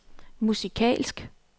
musikalsk